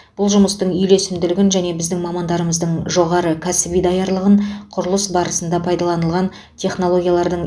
бұл жұмыстың үйлесімділігін және біздің мамандарымыздың жоғары кәсіби даярлығын құрылыс барысында пайдаланылған технологиялардың